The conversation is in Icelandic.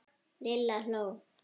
Lilla hló.